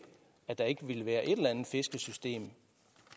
at der ikke vil være et eller andet fiskesystem